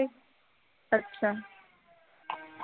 ਅੱਛਾ